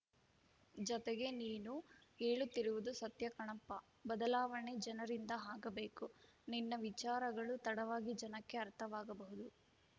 ಜತೆಗೆ ನೀನು ಹೇಳುತ್ತಿರುವುದು ಸತ್ಯ ಕಣಪ್ಪ ಬದಲಾವಣೆ ಜನರಿಂದ ಆಗಬೇಕು ನಿನ್ನ ವಿಚಾರಗಳು ತಡವಾಗಿ ಜನಕ್ಕೆ ಅರ್ಥವಾಗಬಹುದು